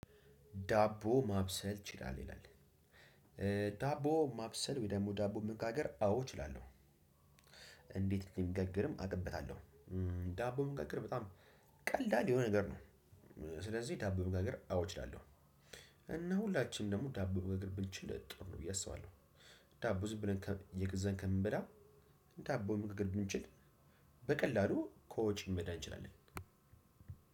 ዳቦ ማብሰል ትችላለህ ይላል? ዳቦ ማብሰል ወይም ደግሞ ዳቦ መጋገር አዎ እችላለሁ። እንዴት እንደሚጋገርም አውቅበታለሁ። ዳቦ መጋገር በጣም ቀላል የሆነ ነገር ነው። ስለዚህ ዳቦ መጋገር አዎ እችላለሁ። እና ሁላችንም ደግሞ ዳቦ መጋገር ብንችል ጥሩ ነው ብዬ አስባለሁ። ዳቦ ዝም ብለን እየገዛን ከምንበላ ዳቦ መጋገር ብንችል በቀላሉ ከወጪ መዳን እንችላለን።